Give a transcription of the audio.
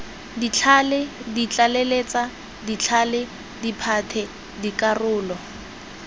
ditlhale ditlaleletsa ditlhale diphate dikarolo